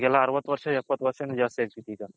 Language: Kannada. ಈಗೆಲ್ಲ ಅರವತ್ ವರುಷ ಯಪತ್ ವರ್ಷ ಜಾಸ್ತಿ ಅಗ್ಬಿಟ್ಟಿದೆ ಈಗ